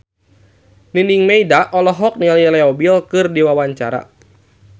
Nining Meida olohok ningali Leo Bill keur diwawancara